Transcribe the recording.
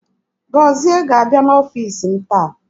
Gozie ga-abịa n'ọfiisi m taa.